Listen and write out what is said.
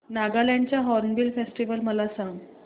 नागालँड चा Hornbill festival मला सांग